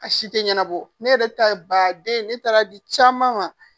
A si te banɛbɔ ne yɛrɛ ta baaden ne taara di caman ma